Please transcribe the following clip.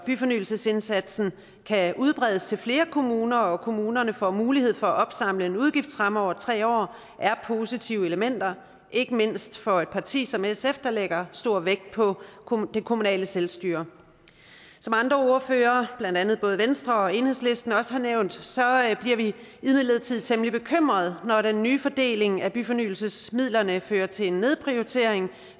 byfornyelsesindsatsen kan udbredes til flere kommuner og kommunerne får mulighed for at opsamle en udgiftsramme over tre år er positive elementer ikke mindst for et parti som sf der lægger stor vægt på det kommunale selvstyre som andre ordførere blandt andet fra både venstre og enhedslisten også har nævnt bliver vi imidlertid temmelig bekymret når den nye fordeling af byfornyelsesmidlerne fører til en nedprioritering